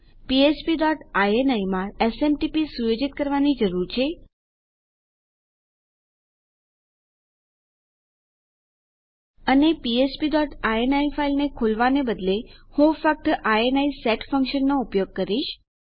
આપણને ફ્ફ્પ ડોટ ઇની માં એસએમટીપી સુયોજિત કરવાની જરૂર છે અને મારી ફ્ફ્પ ડોટ ઇની ફાઈલને ખોલવાને બદલે હું ફક્ત ઇની સેટ ફંક્શનનો ઉપયોગ કરીશ